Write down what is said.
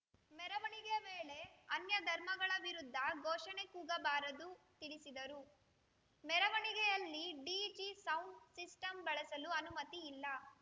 ಮೆರವಣಿಗೆ ವೇಳೆ ಅನ್ಯಧರ್ಮಗಳ ವಿರುದ್ಧ ಘೋಷಣೆ ಕೂಗಬಾರದು ತಿಳಿಸಿದರು ಮೆರವಣಿಗೆಯಲ್ಲಿ ಡಿಜೆ ಸೌಂಡ್‌ ಸಿಸ್ಟಂ ಬಳಸಲು ಅನುಮತಿಯಿಲ್ಲ